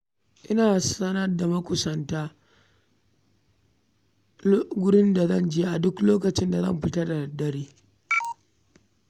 Ina sanar da makusantana inda zan je a duk lokacin da zan fita da dare.